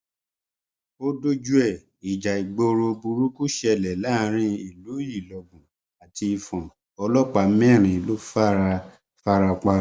ó dójú ẹ ìjà ìgboro burúkú ṣẹlẹ láàrin ìlú ìlọbù àti ìfọn ọlọpàá mẹrin ló fara fara pa